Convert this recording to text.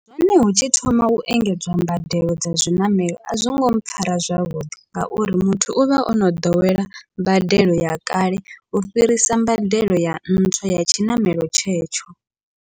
Hone hu tshi thoma u engedzwa mbadelo dza zwiṋamelo, a zwongo mpfhara zwavhuḓi ngauri muthu uvha ono ḓowela mbadelo ya kale, u fhirisa mbadelo ya ntswa ya tshiṋamelo tshetsho.